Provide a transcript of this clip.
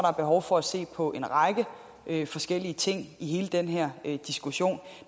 er behov for at se på en række forskellige ting i hele den her diskussion